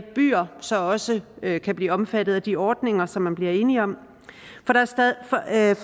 byer så også kan blive omfattet af de ordninger som man blev enige om for at